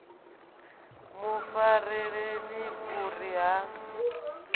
mu fareleni u ri ha